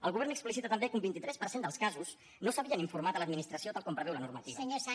el govern explicita també que un vint tres per cent dels casos no s’havien informat a l’administració tal com preveu la normativa